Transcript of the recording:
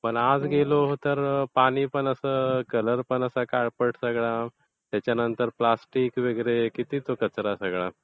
पण आज गेलो तर पाणी पण असं, कलर पण असा काळपट सगळा. त्याच्यानंतर प्लॅस्टिक वगैरे, किती तो कचरा सगळा.